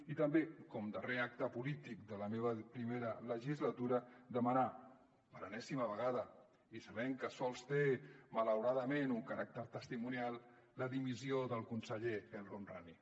i també com a darrer acte polític de la meva primera legislatura demanar per enèsima vegada i sabent que sols té malauradament un caràcter testimonial la dimissió del conseller el homrani